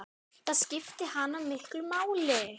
Það skipti hana miklu máli.